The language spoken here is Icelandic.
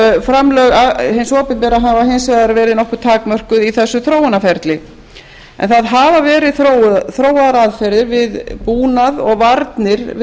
framlög hins opinbera hafa hins vegar verið nokkuð takmörkuð í þessu þróunarferli þó hafa verið þróaðar aðferðir við búnað og varnir